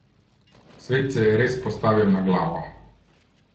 Svet se je res postavil na glavo.